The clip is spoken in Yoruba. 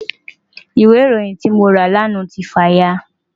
Ìwé ìròyìn tí mo rà lánàá ti fà ya.